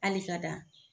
Hali ka dan